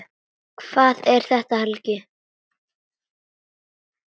Hvað er þetta, Helgi?